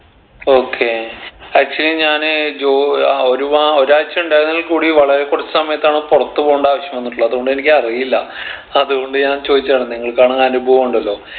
okay actually ഞാൻ ജോ ഏർ ആഹ് ഒരുവാ ഒരാഴ്ച ഇണ്ടായിരുന്നേൽ കൂടി വളരെ കുറച്ച് സമയത്താണ് പുറത്ത് പോണ്ട ആവശ്യം വന്നിട്ടുള്ളത് അത്കൊണ്ട് എനിക്കറിയില്ല അത്കൊണ്ട് ഞാൻ ചോദിച്ചതാണ് നിങ്ങൾക്കാണെങ്കി അനുഭവം ഉണ്ടല്ലോ